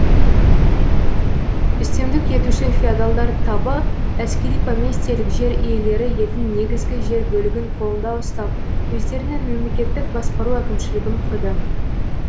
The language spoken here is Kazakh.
үстемдік етуші феодалдар табы әскери поместьелік жер иелері елдің негізгі жер бөлігін қолында ұстап өздерінің мемлекеттік басқару әкімшілігін құрды